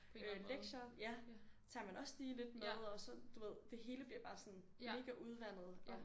Øh lektier ja tager man også lige lidt med og så du ved det hele bliver bare sådan mega udvandet og